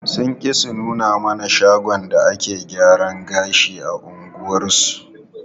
Sun ƙi su nuna mana shagon da take zuwa gyaran gashi a unguwarsu.